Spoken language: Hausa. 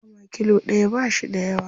Nama kilo ɗaya ba shi da yawa.